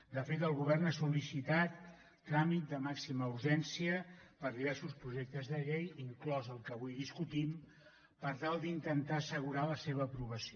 de fet el govern ha sol·licitat tràmit de màxima urgència per a diversos projectes de llei inclòs el que avui discutim per tal d’intentar assegurar la seva aprovació